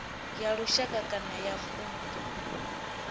ya lushaka kana ya vundu